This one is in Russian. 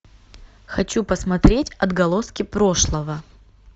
хочу посмотреть отголоски прошлого